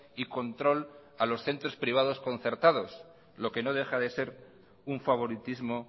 y control a los centros privados concertados lo que no deja de ser un favoritismo